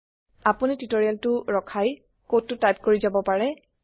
আপোনি টিওটৰিয়েলটো ৰখাই কডটো টাইপ কৰি যাব পাৰে